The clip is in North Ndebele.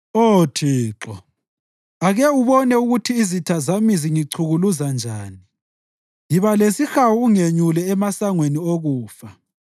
Oh Thixo, ake ubone ukuthi izitha zami zingichukuluza njani! Yiba lesihawu ungenyule emasangweni okufa,